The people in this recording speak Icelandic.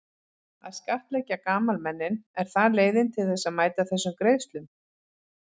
Að skattleggja gamalmennin, er það leiðin til þess að mæta þessum greiðslum?